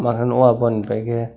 bagan wahh bahan ni paike.